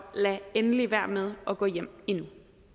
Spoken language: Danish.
lad endelig være med at gå hjem endnu